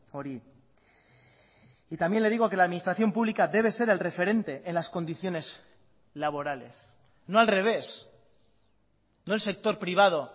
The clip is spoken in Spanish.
hori y también le digo que la administración pública debe ser el referente en las condiciones laborales no al revés no el sector privado